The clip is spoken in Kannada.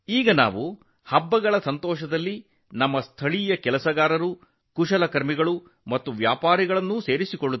ನಾವು ಈಗ ನಮ್ಮ ದೇಶೀಯ ಕುಶಲಕರ್ಮಿಗಳು ಕಸುಬುದಾರರು ಮತ್ತು ವ್ಯಾಪಾರಿಗಳನ್ನು ಹಬ್ಬದ ಸಂತೋಷದಲ್ಲಿ ಸೇರಿಸಿಕೊಳ್ಳುತ್ತೇವೆ